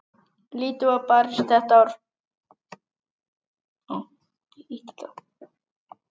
Lítið var barist þetta ár.